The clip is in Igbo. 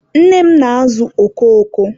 nne m na-azụ oko oko.